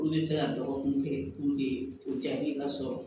Olu bɛ se ka dɔgɔkun kɛ puruke o jaabi ka sɔrɔ